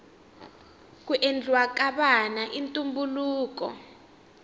ku endliwa ka vana i ntumbuluko